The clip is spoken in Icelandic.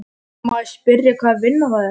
Má ég spyrja hvaða vinna það er?